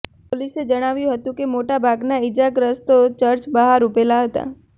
પોલીસે જણાવ્યું હતું કે મોટાભાગના ઈજાગ્રસ્તો ચર્ચ બહાર ઊભેલાં હતાં